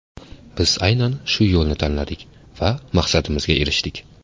Biz aynan shu yo‘lni tanladik va maqsadimizga erishdik.